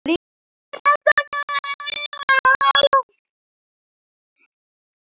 Er þetta ekki nóg?